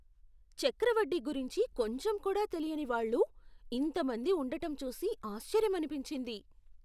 చక్రవడ్డీ గురించి కొంచెం కూడా తెలియని వాళ్ళు ఇంత మంది ఉండటం చూసి ఆశ్చర్యమనిపించింది.